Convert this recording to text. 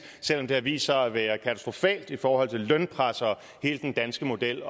selv om det har vist sig at være katastrofalt i forhold til lønpres og hele den danske model